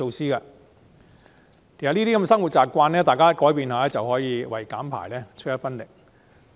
其實，只要大家改變一下生活習慣，便可以為減排出一分力。